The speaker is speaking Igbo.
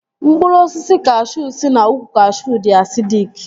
Mkpụrụ osisi kashuu si na ukwu kashuu dị asidik